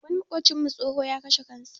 Wani maƙocinmu tsoho, ya kashe kansa.